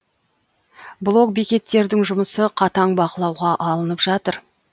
блок бекеттердің жұмысы қатаң бақылауға алынып жатыр